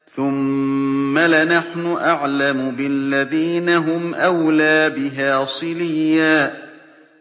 ثُمَّ لَنَحْنُ أَعْلَمُ بِالَّذِينَ هُمْ أَوْلَىٰ بِهَا صِلِيًّا